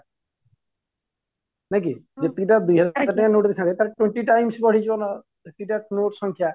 ନାଇଁ କି ଯେତିକି ଟା ଦୁଇହାଜର ଟଙ୍କିଆ note ଦେଇଥାନ୍ତେ ତାର twenty times ବଢ଼ିଯିବ ଯେତିକି ଟା note ସଂଖ୍ୟା